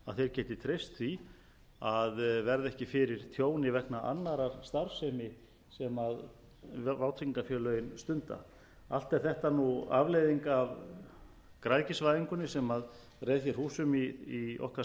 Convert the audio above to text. geti treyst því að verða ekki fyrir tjóni vegna annarrar starfsemi sem vátryggingafélögin stunda allt er þetta afleiðing af græðgisvæðingunni sem reið húsum í okkar